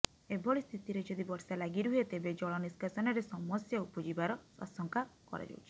ଏଭଳି ସ୍ଥିତିରେ ଯଦି ବର୍ଷା ଲାଗି ରୁହେ ତେବେ ଜଳ ନିଷ୍କାସନରେ ସମସ୍ୟା ଉପୁଜିବାର ଆଶଙ୍କା କରାଯାଉଛି